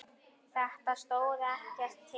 Þetta stóð ekkert til.